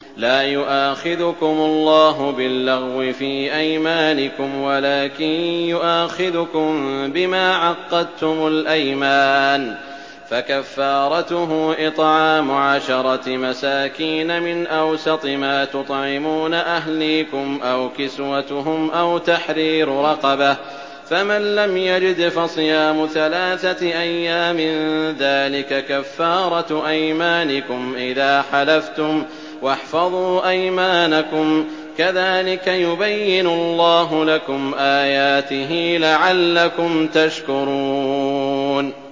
لَا يُؤَاخِذُكُمُ اللَّهُ بِاللَّغْوِ فِي أَيْمَانِكُمْ وَلَٰكِن يُؤَاخِذُكُم بِمَا عَقَّدتُّمُ الْأَيْمَانَ ۖ فَكَفَّارَتُهُ إِطْعَامُ عَشَرَةِ مَسَاكِينَ مِنْ أَوْسَطِ مَا تُطْعِمُونَ أَهْلِيكُمْ أَوْ كِسْوَتُهُمْ أَوْ تَحْرِيرُ رَقَبَةٍ ۖ فَمَن لَّمْ يَجِدْ فَصِيَامُ ثَلَاثَةِ أَيَّامٍ ۚ ذَٰلِكَ كَفَّارَةُ أَيْمَانِكُمْ إِذَا حَلَفْتُمْ ۚ وَاحْفَظُوا أَيْمَانَكُمْ ۚ كَذَٰلِكَ يُبَيِّنُ اللَّهُ لَكُمْ آيَاتِهِ لَعَلَّكُمْ تَشْكُرُونَ